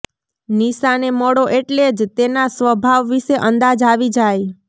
નિશાને મળો એટલે જ તેના સ્વભાવ વિશે અંદાજ આવી જાય